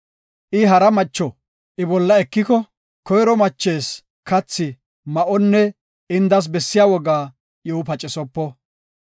I hara macho I bolla ekiko, koyro machees kathi, ma7onne indas bessiya woga iw pacisopo.